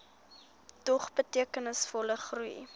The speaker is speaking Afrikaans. dog betekenisvolle groei